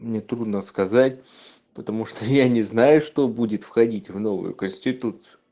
мне трудно сказать потому что я не знаю что будет входить в новую конституцию